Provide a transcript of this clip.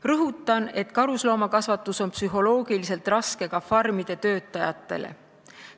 Rõhutan, et karusloomakasvatus on psühholoogiliselt raske ka farmide töötajatele.